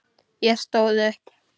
Ég stóð upp.